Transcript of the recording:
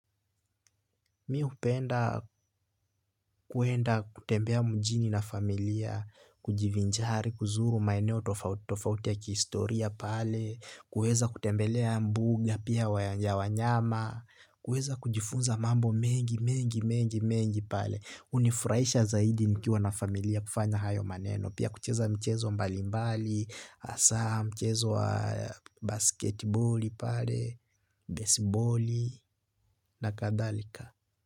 Mi hupenda kuenda kutembea mjini na familia, kujivinjari, kuzuru maeneo tofauti tofauti ya kihistoria pale, kuweza kutembelea mbuga, pia ya wanyama, kuweza kujifunza mambo mengi mengi mengi mengi pale. Hunifurahisha zaidi nikiwa na familia kufanya hayo maneno, pia kucheza michezo mbalimbali, hasaa mchezo wa basketiboli pale, besiboli, na kadhalika.